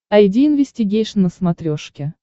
айди инвестигейшн на смотрешке